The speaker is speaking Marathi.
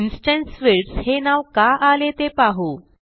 इन्स्टन्स फील्ड्स हे नाव का आले ते पाहू